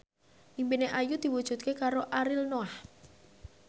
impine Ayu diwujudke karo Ariel Noah